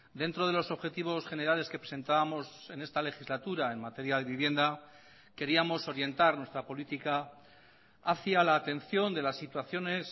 dentro de los objetivos generales que presentábamos en esta legislatura en materia de vivienda queríamos orientar nuestra política hacía la atención de las situaciones